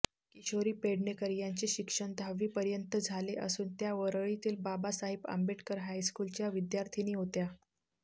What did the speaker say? किशोरी पेडणेकर यांचे शिक्षण दहावीपर्यंत झाले असून त्या वरळीतील बाबासाहेब आंबेडकर हायस्कूलच्या विद्यार्थिनी होत्या